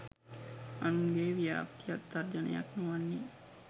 අනුන්ගේ ව්‍යාප්තියක් තර්ජනයක් නොවන්නේ